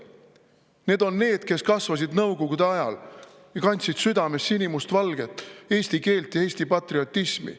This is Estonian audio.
Need on need, kes kasvasid Nõukogude ajal, kandsid südames sinimustvalget, eesti keelt ja Eesti patriotismi.